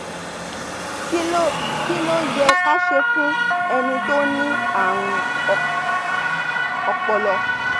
kí ló kí ló yẹ ká ṣe fún ẹni tó ní àrùn ọpọlọ?